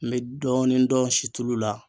N be dɔɔnin dɔn situlu la